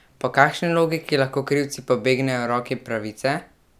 Po kakšni logiki lahko krivci pobegnejo roki pravice?